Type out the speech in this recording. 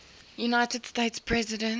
united states president